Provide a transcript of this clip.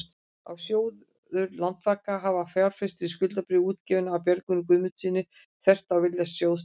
að sjóður Landsvaka hafi fjárfest í skuldabréfi útgefnu af Björgólfi Guðmundssyni, þvert á vilja sjóðsstjóra?